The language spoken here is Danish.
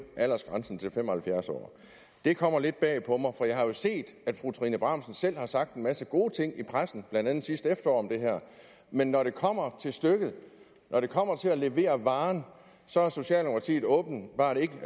aldersgrænsen til fem og halvfjerds år det kommer lidt bag på mig for jeg har jo set at fru trine bramsen selv har sagt en masse gode ting i pressen blandt andet sidste efterår men når det kommer til stykket når det kommer til at levere varen så har socialdemokratiet åbenbart ikke